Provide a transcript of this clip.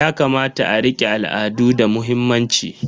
Yakamata a rike al'adu da muhimmanci.